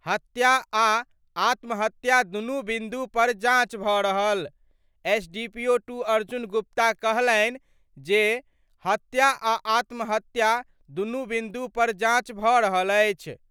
हत्या आ आत्महत्या दुनू बिन्दु पर जांच भ' रहल : एसडीपीओ 2 अर्जुन गुप्ता कहलनि जे, हत्या आ आत्महत्या दुनू बिन्दु पर जांच भ' रहल अछि।